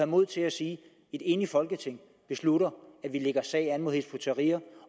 mod til at sige at et enigt folketing beslutter at vi lægger sag an imod hizb ut tahrir